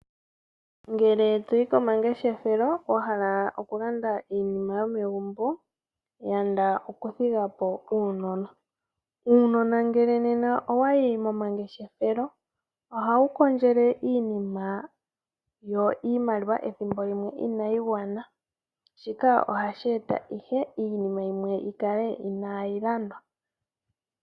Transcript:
Ngele toyi komangeshefelo wahala oku landa iinima yomegumbo, yanda okuthigapo uunona. Uunona nena ngele owayi momangeshefelo oha wu kondjele iinima yo iimaliwa ethimbo limwe inayi gwana, shika ohashi eta ihe iinima yimwe yikale inayi landwa.